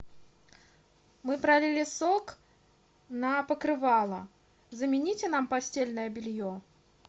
мы пролили сок на покрывало замените нам постельное белье